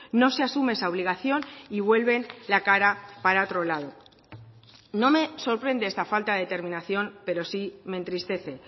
no se asume esa obligación y vuelven la cara para otro lado no me sorprende esta falta de determinación pero sí me entristece